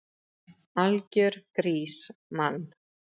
Algjör grís, mann!